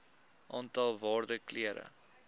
aantal waarde kere